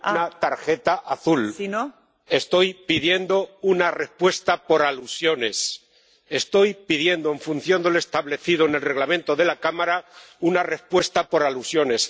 No estoy pidiendo una tarjeta azul. Estoy pidiendo una respuesta por alusiones. Estoy pidiendo, en función de lo establecido en el Reglamento de la Cámara, una respuesta por alusiones.